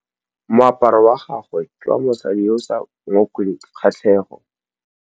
Moaparô wa gagwe ke wa mosadi yo o sa ngôkeng kgatlhegô.